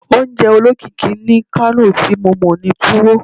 Ounje olokiki ni Kano ti mo mọ ni Tuwo